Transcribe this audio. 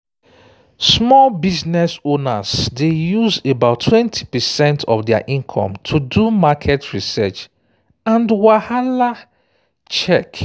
small business owners dey use about 20 percent of their income to do market research and wahala-check